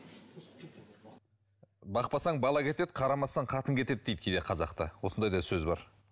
бақпасаң бала кетеді қарамасаң қатын кетеді дейді кейде қазақта осындай да сөз бар